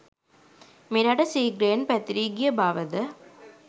මෙරට සීඝ්‍රයෙන් පැතිරී ගිය බවද